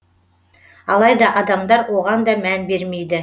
алайда адамдар оған да мән бермейді